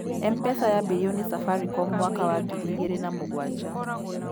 Mpesa yaambirio nĩ Safaricom mwaka wa ngiri igĩrĩ na mũgwanja.